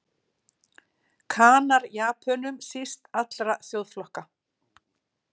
Kanar Japönum síst allra þjóðflokka.